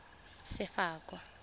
sefako